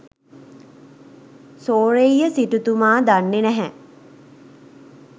සෝරෙය්‍ය සිටුතුමා දන්නෙ නැහැ